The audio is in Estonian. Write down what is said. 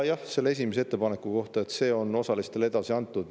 Selle esimese ettepaneku kohta ütlen, et see on osalistele edasi antud.